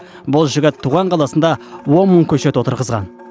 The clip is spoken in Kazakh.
бұл жігіт туған қаласында он мың көшет отырғызған